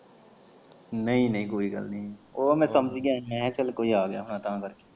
ਨਈ ਨਈ ਕੋਈ ਗੱਲ ਨੀ ਉਹ ਮੈਂ ਸਮਝ ਗਿਆ ਹੀ ਮੈਂ ਕਿਹਾ ਚੱਲ ਕੋਈ ਆ ਗਿਆ ਹੁਨਾ ਤਾਂ ਕਰਕੇ।